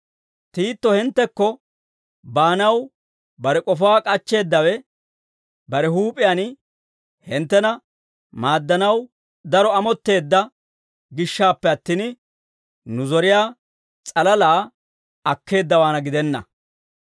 Tiito hinttekko baanaw bare k'ofaa k'achcheeddawe, bare huup'iyaan hinttena maaddanaw daro amotteedda gishshaappe attin, nu zoriyaa s'alalaa akkeeddawaana gidenna.